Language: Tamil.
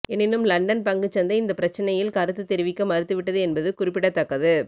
எனினும் லண்டன் பங்குச் சந்தை இந்த பிரச்சினையில் கருத்து தெரிவிக்க மறுத்துவிட்டது என்பது குறிப்பிடத்தக்கது